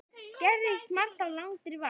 Gerist margt á langri vakt.